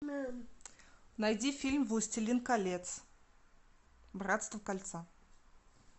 найди фильм властелин колец братство кольца